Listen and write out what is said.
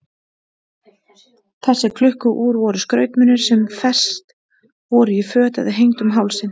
Þessi klukku-úr voru skrautmunir sem fest voru í föt eða hengd um hálsinn.